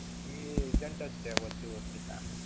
એ agent જ છે વચ્ચે ઓળખીતા.